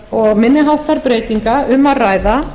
og minni átt breytinga um að ræða